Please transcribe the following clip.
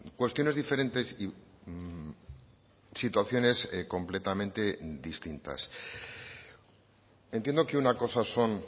cuestiones diferentes y situaciones completamente distintas entiendo que una cosa son